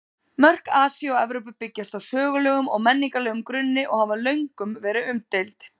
Mörk Asíu og Evrópu byggjast á sögulegum og menningarlegum grunni og hafa löngum verið umdeild.